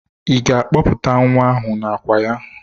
Ị ga-akpọpụta nwa ahụ n'àkwà ya?